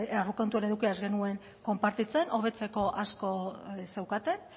aurrekontuen edukia ez genuen konpartitzen hobetzeko asko zeukaten